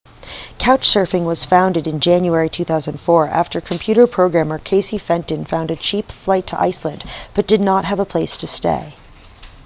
couchsurfing was founded in january 2004 after computer programmer casey fenton found a cheap flight to iceland but did not have a place to stay